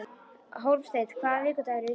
Hólmsteinn, hvaða vikudagur er í dag?